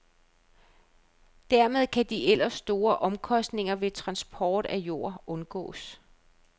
Dermed kan de ellers store omkostninger ved transport af jord undgås.